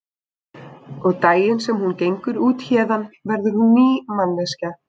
Og daginn sem hún gengur út héðan verður hún ný manneskja.